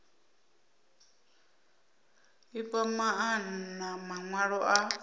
i fha maana mawalo a